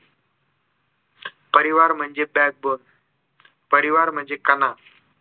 परिवार म्हणजे backbone परिवार म्हणजे कणा